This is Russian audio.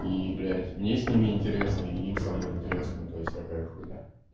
и блять мне с ними интересно и им со мной интересно то есть такая хуйня